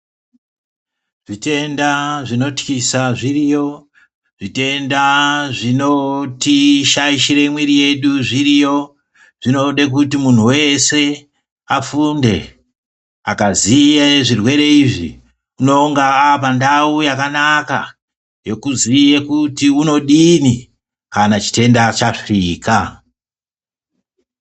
Zvitenda zvinotyisa zviriyo, zvitenda zvinotishaishire mwiiri yedu zviriyo. Zvinode kuti munhu wese afunde. Akaziye zvirwere izvi unonga aapandau yakanaka yekuziye kuti unodini kana chitenda chasvika.